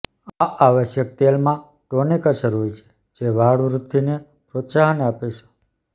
આ આવશ્યક તેલમાં ટોનિક અસર હોય છે જે વાળ વૃદ્ધિને પ્રોત્સાહન આપે છે